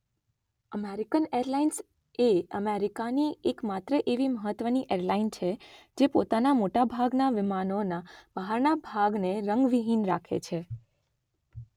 American Airlines એ અમેરિકાની એકમાત્ર એવી મહત્વની એરલાઇન છે જે પોતાના મોટાભાગના વિમાનોના બહારના ભાગને રંગવિહીન રાખે છે